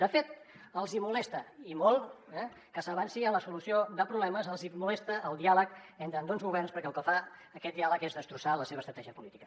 de fet els hi molesta i molt que s’avanci en la solució de problemes els hi molesta el diàleg entre ambdós governs perquè el que fa aquest diàleg és destrossar la seva estratègia política